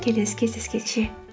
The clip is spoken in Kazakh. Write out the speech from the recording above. келесі кездескенше